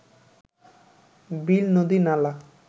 বিল নদী নালা